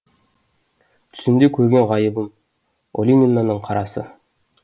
түсімде көрген ғайыбым оленинаның қарасы